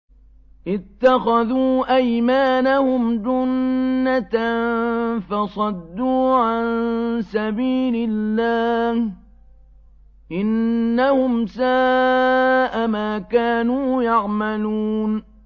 اتَّخَذُوا أَيْمَانَهُمْ جُنَّةً فَصَدُّوا عَن سَبِيلِ اللَّهِ ۚ إِنَّهُمْ سَاءَ مَا كَانُوا يَعْمَلُونَ